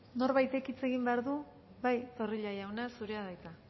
norbaitek hitz egin behar du zorrilla jauna zurea da hitza